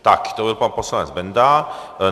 Tak to byl pan poslanec Benda.